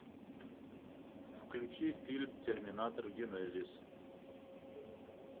включи фильм терминатор генезис